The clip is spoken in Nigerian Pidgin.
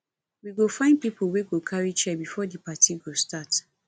we go find pipo wey go carry chair before di party go start